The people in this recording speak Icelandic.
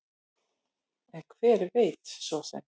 En hver veit svo sem?